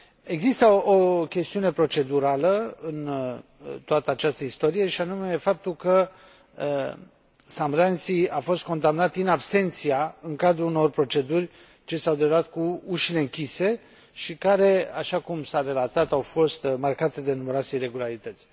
Există o chestiune procedurală în toată această istorie, și anume faptul că Sam Rainsy a fost condamnat în cadrul unor proceduri ce s au derulat cu ușile închise și care, așa cum s a relatat, au fost marcate de numeroase iregularități.